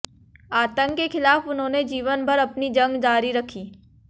आतंक के खिलाफ उन्होंने जीवन भर अपनी जंग जारी रखी